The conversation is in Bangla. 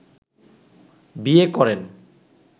বিয়ে করেন